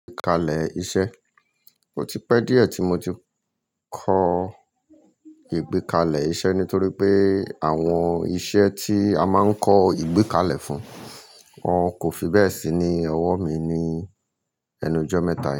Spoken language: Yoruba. Ìgbẹ́kalẹ̀ iṣẹ́, ó ti pẹ́ díẹ̀ tí mo ti kọ ìgbẹ́kalẹ̀ iṣẹ́ nítorí pé àwọn iṣẹ́ tí a máa ń kọ ìgbẹ́kalẹ̀ fún wọn kò fi bẹ́ẹ̀ sí ní ọwọ́ mi ni ẹnu ojọ́ mẹ́ta yi.